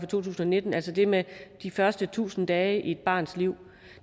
tusind og nitten altså det med de første tusind dage i et barns liv